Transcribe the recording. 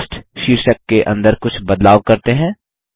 cost शीर्षक के अंदर कुछ बदलाव करते हैं